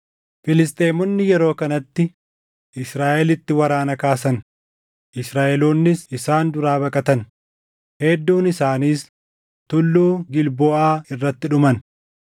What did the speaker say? Filisxeemonni yeroo kanatti Israaʼelitti waraana kaasan; Israaʼeloonnis isaan duraa baqatan; hedduun isaaniis Tulluu Gilboʼaa irratti dhuman.